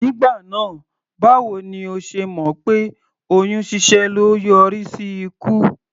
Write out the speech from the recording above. Nígbà náà báwo ni o ṣe mọ̀ pé oyún ṣíṣẹ́ le yọrí sí ikú?